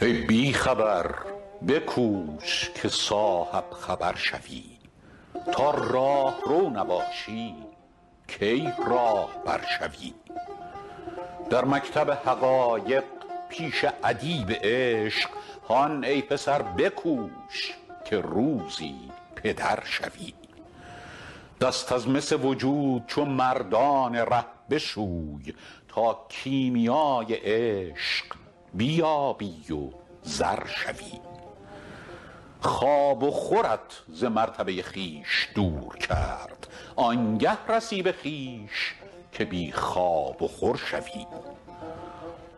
ای بی خبر بکوش که صاحب خبر شوی تا راهرو نباشی کی راهبر شوی در مکتب حقایق پیش ادیب عشق هان ای پسر بکوش که روزی پدر شوی دست از مس وجود چو مردان ره بشوی تا کیمیای عشق بیابی و زر شوی خواب و خورت ز مرتبه خویش دور کرد آن گه رسی به خویش که بی خواب و خور شوی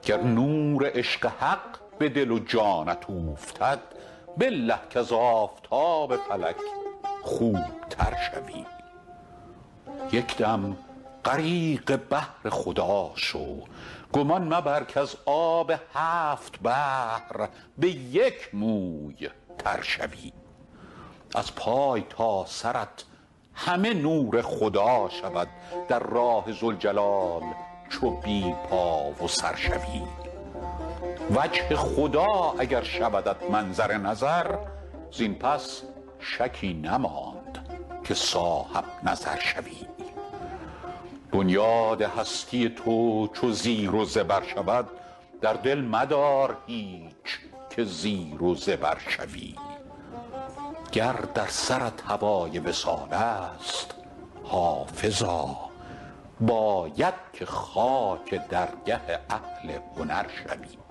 گر نور عشق حق به دل و جانت اوفتد بالله کز آفتاب فلک خوب تر شوی یک دم غریق بحر خدا شو گمان مبر کز آب هفت بحر به یک موی تر شوی از پای تا سرت همه نور خدا شود در راه ذوالجلال چو بی پا و سر شوی وجه خدا اگر شودت منظر نظر زین پس شکی نماند که صاحب نظر شوی بنیاد هستی تو چو زیر و زبر شود در دل مدار هیچ که زیر و زبر شوی گر در سرت هوای وصال است حافظا باید که خاک درگه اهل هنر شوی